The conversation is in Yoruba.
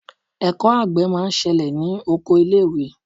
Ẹ̀kọ́ àgbẹ̀ máa ń ṣẹlẹ̀ ní oko ilé ìwé.